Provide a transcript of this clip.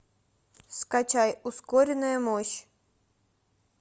скачай ускоренная мощь